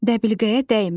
Dəbilqəyə dəymə.